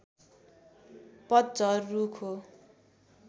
पतझर रुख हो